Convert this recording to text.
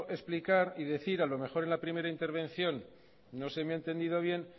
explicar y decir a lo mejor en la primera intervención no se me ha entendido bien